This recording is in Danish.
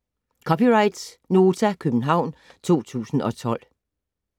(c) Nota, København 2012